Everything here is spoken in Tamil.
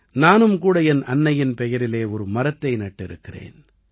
நானும் கூட என் அன்னையின் பெயரிலே ஒரு மரத்தை நட்டிருக்கிறேன்